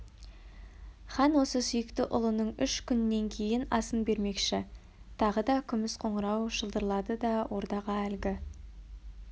хан осы сүйікті ұлының үш күннен кейін асын бермекші тағы да күміс қоңырау шылдырлады ордаға әлгі